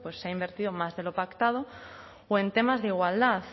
pues se ha invertido más de lo pactado o en temas de igualdad